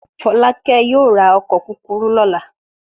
Fọ́lákẹ́ yóò ra ọkọ̀ kúkúrú lọ́la.